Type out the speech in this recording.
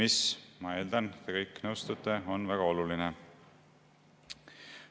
See – ma eeldan, et te kõik nõustute – on väga oluline.